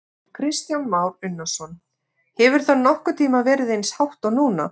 Kristján Már Unnarsson: Hefur það nokkurn tímann verið eins hátt og núna?